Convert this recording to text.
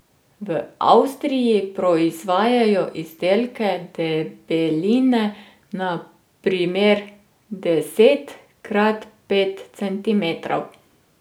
V Avstriji proizvajajo izdelke debeline na primer deset krat pet centimetrov.